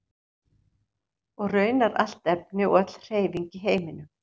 Og raunar allt efni og öll hreyfing í heiminum.